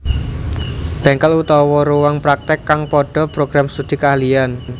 Bengkel/Ruang praktek kang podo Program Studi Keahlian